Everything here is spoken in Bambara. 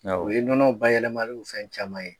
Awɔ, o ye nɔnɔ bayɛlɛmaliw fɛn caman ye.